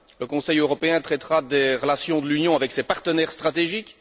Le Conseil européen traitera des relations de l'Union avec ses partenaires stratégiques.